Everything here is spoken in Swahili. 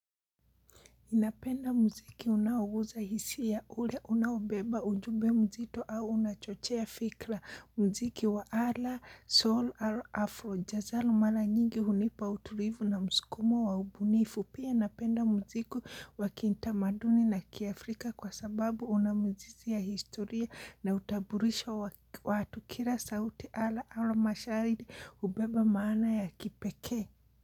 Napenda mziki unaoguza hisia ule unaobeba ujube mzito au unachochea fikla mziki wa ala sol al afro jazalo mala nyingi hunipa utulivu na mskumo wa ubunifu pia napenda mziku. Wakintamaduni na kiafrika kwa sababu unamzizi ya historia na utaburisho wa watu kila sauti ala ama mashairi hubeba maana ya kipekee.